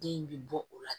Den in bɛ bɔ o la